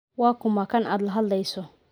Waa kuma kan aad la hadlayso?